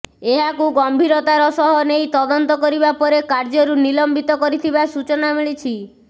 ଏହାକୁ ଗମ୍ଭିରତାର ସହ ନେଇ ତଦନ୍ତ କରିବା ପରେ କାର୍ଯ୍ୟରୁ ନିଲମ୍ବିତ କରିଥିବା ସୂଚନା ମିଳିଛି